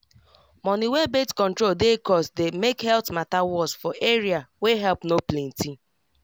money wey birth control dey cost dey make health matter worse for area wey help no plenty